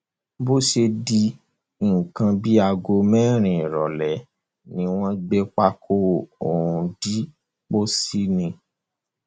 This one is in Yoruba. bó ṣe di nǹkan bíi aago mẹrin ìrọlẹ ni wọn gbé pákó ọhún dé pósí ni